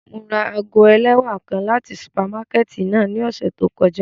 Mo ra aago ẹlẹwa kan lati supamakẹti náa ni ọsẹ to kọja.